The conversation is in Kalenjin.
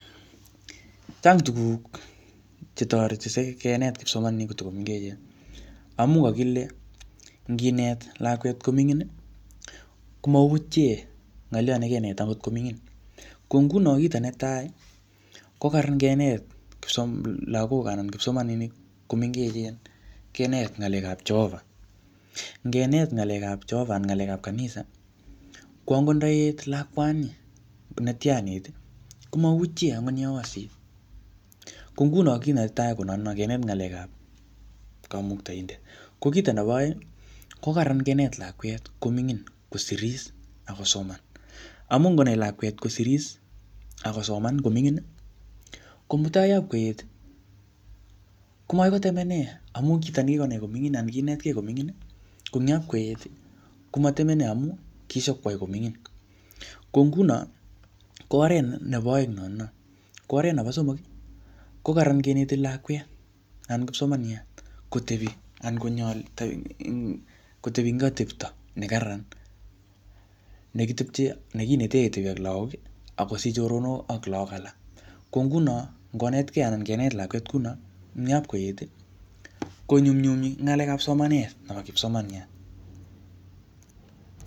Chang tuguk chetoreti sikenet kipsomaninik kotiko mengechen. Amu kakile nginet lakwet ko mining, komautie ngoliot ne kenet agot ko mining. Ko nguno kito netai, ko kararan kinet kipsomninik lagok anan kipsomaninik komengechen, kenet ng'alekap Jehovah. Ngenet ng'alekap Jehovah anan ng'alekap kanisa, ko angot ndaet lakwani, netianit, komautie angot yeosit. Ko nguno kiy netai ko notono, kenet ng'alekap kamuktaindet. Ko kito nebo aeng, ko kararan kenet lakwet ko mingin kosiris akosoman. Amu ngonai lakwet kosirirs akosoman komingin, ko mutai yapkoet, ko magoi kotemene amu kito ne kikonai ko mingin anan konetkei komingin, ko eng yapkoet komatemene amu kishipkwai ko mingin. Ko nguno, ko oret nebo aegn notono. Ko oret nebo somok, ko kararan keneti lakwet anan kipsomaniat kotebi anan konyol kotebi eng atepto ne kararan, ne kitepche, kinete ketebi ak lagok, akosich choronok ak lagok alak. Ko nguno ngonetkei anan kenet lakwet kuno, eng yapkoet, konyumnyumi en ng'alekap somanet nebo kipsomaniat